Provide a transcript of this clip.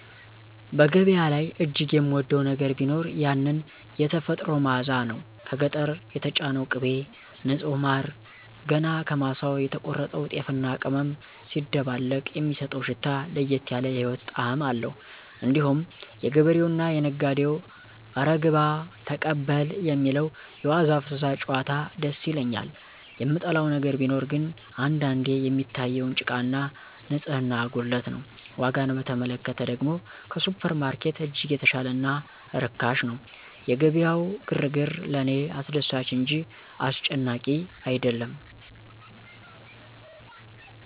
በገበያ ላይ እጅግ የምወደው ነገር ቢኖር ያንን "የተፈጥሮ መዓዛ" ነው። ከገጠር የተጫነው ቅቤ፣ ንጹህ ማር፣ ገና ከማሳው የተቆረጠው ጤፍና ቅመም ሲደባለቅ የሚሰጠው ሽታ ለየት ያለ የህይወት ጣዕም አለው። እንዲሁም የገበሬውና የነጋዴው "እረ ግባ"፣ "ተቀበል" የሚለው የዋዛ ፈዛዛ ጭዋታ ደስ ይለኛል። የምጠላው ነገር ቢኖር ግን አንዳንዴ የሚታየውን ጭቃና ንጽህና ጉድለት ነው። ዋጋን በተመለከተ ደግሞ ከሱፐርማርኬት እጅግ የተሻለና ርካሽ ነው። የገበያው ግርግር ለእኔ አስደሳች እንጂ አስጨናቂ አይደለም